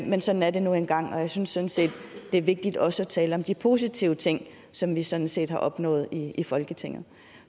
men sådan er det nu engang jeg synes synes det er vigtigt også at tale om de positive ting som vi sådan set har opnået i i folketinget